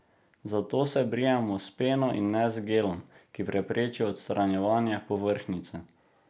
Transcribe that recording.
Zato se brijemo s peno in ne z gelom, ki prepreči odstranjevanje povrhnjice.